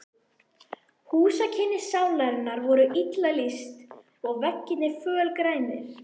Húsakynni Sálarinnar voru illa lýst, og veggirnir fölgrænir.